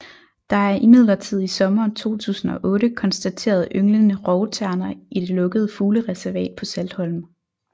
Der er imidlertid i sommeren 2008 konstateret ynglende rovterner i det lukkede fuglereservat på Saltholm